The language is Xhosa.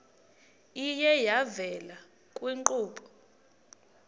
iye yavela kwiinkqubo